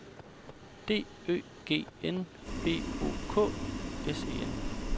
D Ø G N B O K S E N